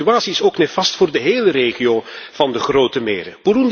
De situatie is nefast voor de hele regio van de Grote Meren.